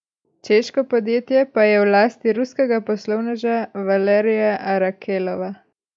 Češko podjetje pa je v lasti ruskega poslovneža Valerija Arakelova.